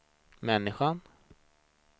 människan